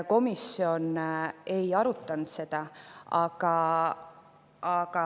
Komisjon seda ei arutanud.